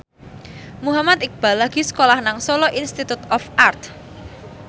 Muhammad Iqbal lagi sekolah nang Solo Institute of Art